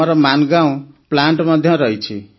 ଆମର ମାନଗାଓଁ ପ୍ଲାଣ୍ଟ ମଧ୍ୟ ରହିଛି